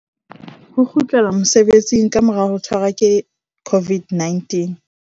Ho kgutlela mosebetsing ka mora ho tshwarwa ke COVID-19